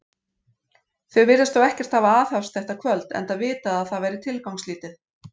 Þau virðast þó ekkert hafa aðhafst þetta kvöld, enda vitað, að það væri tilgangslítið.